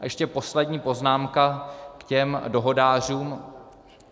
A ještě poslední poznámka k těm dohodářům.